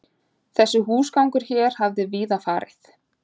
Þessi húsgangur hér hafði víða farið